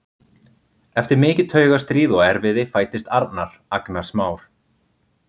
Eftir mikið taugastríð og erfiði fæddist Arnar, agnarsmár.